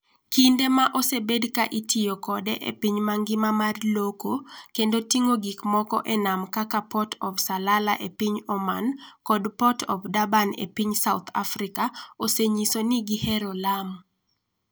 Kinde ma osebed ka itiyo kode e piny mangima mar loko kendo ting'o gik moko e nam kaka Port of Salalah e piny Oman kod Port of Durban e piny South Africa, osenyiso ni gihero Lamu.